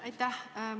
Aitäh!